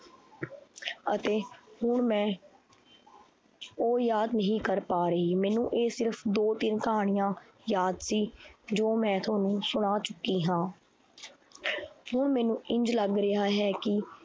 ਅਤੇ ਹੁਣ ਮੈਂ ਉਹ ਯਾਦ ਨਹੀਂ ਕਰ ਪਾ ਰਹੀ, ਮੈਨੂੰ ਇਹ ਸਿਰਫ਼ ਦੋ ਤਿੰਨ ਕਹਾਣੀਆਂ ਯਾਦ ਸੀ ਜੋ ਮੈਂ ਤੁਹਾਨੂੰ ਸੁਣਾ ਚੁੱਕੀ ਹਾਂ ਹੁਣ ਮੈਨੂੰ ਇੰਞ ਲੱਗ ਰਿਹਾ ਹੈ ਕਿ